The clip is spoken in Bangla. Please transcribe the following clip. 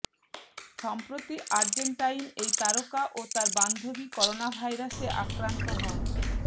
সম্প্রতি আর্জেন্টাইন এই তারকা ও তার বান্ধবী করোনাভাইরাসে আক্রান্ত হন